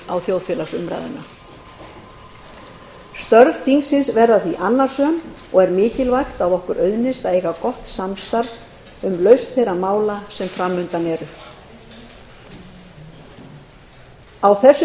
á þjóðfélagsumræðuna störf þingsins verða því annasöm og er mikilvægt að okkur auðnist að eiga gott samstarf um lausn þeirra mála sem fram undan eru á þessu